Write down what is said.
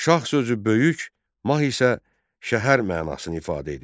Şah sözü böyük, mah isə şəhər mənasını ifadə edir.